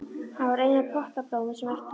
Hann var eina pottablómið sem eftir lifði.